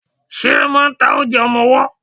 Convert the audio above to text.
Ṣe máà ń ta oúnjẹ ọmọwọ́?